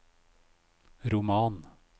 roman